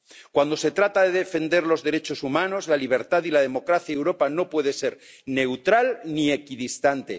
Cuando se trata de defender los derechos humanos, la libertad y la democracia, Europa no puede ser neutral ni equidistante.